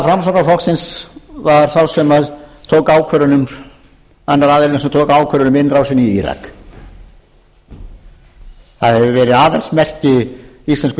framsóknarflokksins var annar aðilinn sem tók ákvörðun um innrásina í írak það hefur verið aðalsmerki íslensku þjóðarinnar eftir að hún